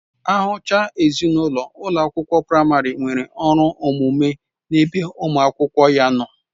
Ahụchaa ezinụlọ, ụlọ akwụkwọ praịmarị nwere ọrụ omume n'ebe ụmụ akwụkwọ ya nọ